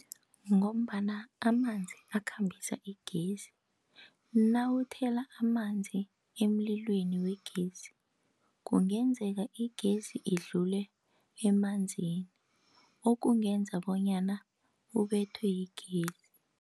Ngombana amanzi akhambisa igezi. Nawuthela amanzi emlilweni wegezi, kungenzeka igezi idlule emanzini, okungenza bonyana ubethwe yigezi.